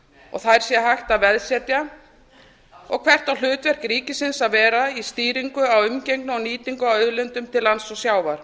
og þær sé hægt að veðsetja og hvert á hlutverk ríkisins að vera í stýringu á umgengni á nýtingu á auðlindum til lands og sjávar